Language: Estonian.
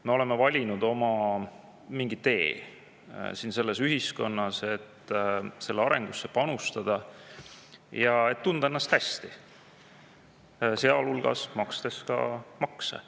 Me oleme valinud mingi oma tee selles ühiskonnas, et selle arengusse panustada ja et tunda ennast hästi, sealhulgas makstes ka makse.